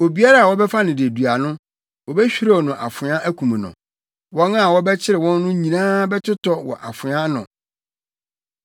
Obiara a wɔbɛfa no dedua no, wobehwirew no afoa akum no; wɔn a wɔbɛkyere wɔn no nyinaa bɛtotɔ wɔ afoa ano.